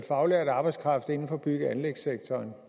faglært arbejdskraft inden for bygge og anlægssektoren